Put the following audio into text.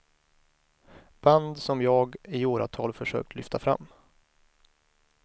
Band som jag i åratal försökt lyfta fram.